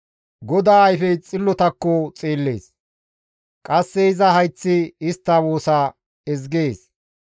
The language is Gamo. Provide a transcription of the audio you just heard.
GODAA ayfey xillotakko xeellees; qasse iza hayththi istta woosa ezgees.